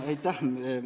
Aitäh!